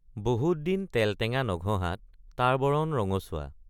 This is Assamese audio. বহুত দিন তেলটেঙ্গা নঘঁহাত তাৰ বৰণ ৰঙচুৱা।